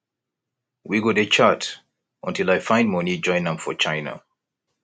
we go dey chat untill i find money join am for china